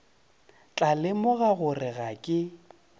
tla lemoga gore ga ke